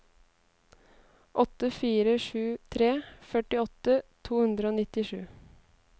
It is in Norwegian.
åtte fire sju tre førtiåtte to hundre og nittisju